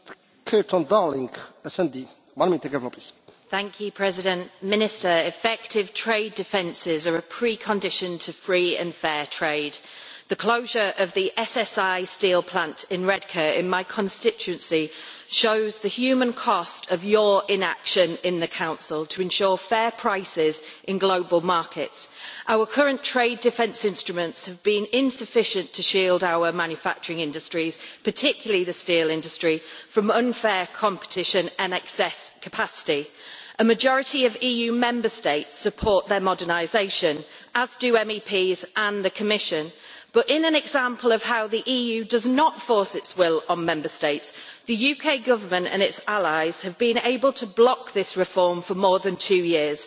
Mr President, I would like to say to the Minister that effective trade defences are a precondition to free and fair trade. The closure of the SSI steel plant in Redcar in my constituency, Minister, shows the human cost of your inaction in the Council to ensure fair prices in global markets. Our current trade defence instruments have been insufficient to shield our manufacturing industries, particularly the steel industry, from unfair competition and excess capacity. A majority of EU Member States support their modernisation, as do MEPs and the Commission, but in an example of how the EU does not force its will on Member States, the UK Government and its allies have been able to block this reform for more than two years.